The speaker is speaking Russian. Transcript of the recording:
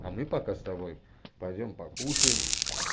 а мы пока с тобой пойдём покушаем